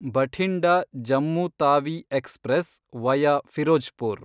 Bathinda Jammu Tawi express, via Firozpur